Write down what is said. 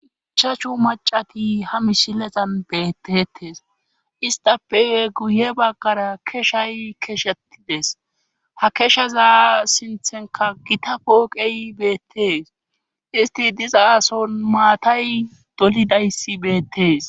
Ichachu macati ha mishilezan bettetes istape guye baggara keshay keshetides ha keshaza sinthenka gita pooqey bettees isti diza ason maatay dolidayssi beettees.